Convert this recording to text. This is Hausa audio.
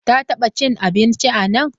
Ta taba cin abinci anan?